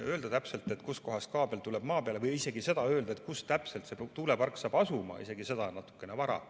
Öelda täpselt, kus kohas kaabel maa peale tuleb, või öelda isegi seda, kus täpselt see tuulepark saab asuma, on natukene vara.